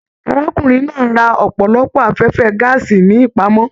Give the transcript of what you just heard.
Arákùnrin náà rà ọpọlọpọ afẹfẹ gàásí ní ipamọ.